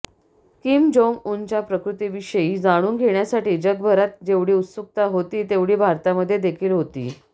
Kim Jong उनच्या प्रकृतीविषयी जाणून घेण्यासाठी जगभरात जेवढी उत्सुकता होती तेवढी भारतामध्ये देखील होती